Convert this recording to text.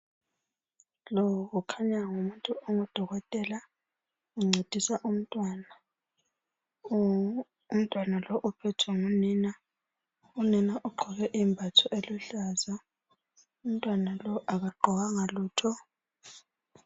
Lo kukhanya ngumuntu ongudokotela uncedisa umntwana, umntwana lo uphethwe ngunina, unina ugqoke imbatho eluhlaza umntwana lo akagqokanga lutho.